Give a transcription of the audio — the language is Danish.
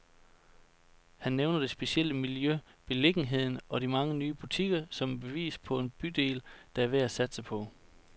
Han nævner det specielle miljø, beliggenheden og de mange nye butikker, som et bevis på en bydel, der er værd at satse på.